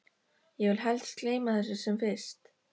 Ég vil helst gleyma þessu sem fyrst.